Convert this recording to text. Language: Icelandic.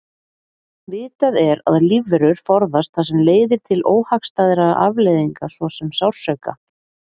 Vitað er að lífverur forðast það sem leiðir til óhagstæðra afleiðinga svo sem sársauka.